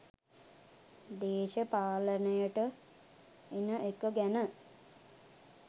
දේශපාලනයට එන එක ගැන